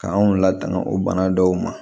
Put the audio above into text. K'anw latanu o bana dɔw ma